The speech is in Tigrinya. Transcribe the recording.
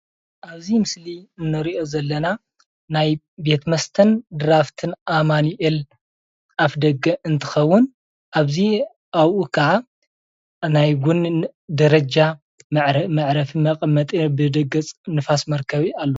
ኣብዚ ምስሊ እንሪኦ ዘለና ናይ ቤት መስተን ድራፍትን ኣማኒኤል ኣፍ ደገ እንትከውን ኣብኡ ክዓ ናይ ቡንን ደረጃ መዕረፊ ንፋስ መርከቢ ኣሎ፡፡